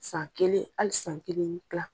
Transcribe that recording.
San kelen, hali san kelen ni kila.